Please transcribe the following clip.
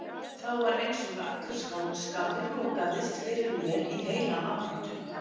Þá var einsog allur skáldskapur lokaðist fyrir mér í heilan áratug.